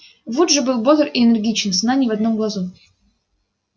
вуд же был бодр и энергичен сна ни в одном глазу